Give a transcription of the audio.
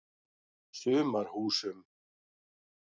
Sumarhúsum